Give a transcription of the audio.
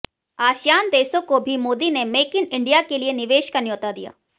ASEAN देशों को भी मोदी ने मेक इन इंडिया के लिए निवेश का न्यौता दिया